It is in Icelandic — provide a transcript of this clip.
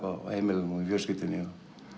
á heimilinu og í fjölskyldunni